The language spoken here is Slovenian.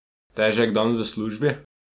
Težek dan v službi?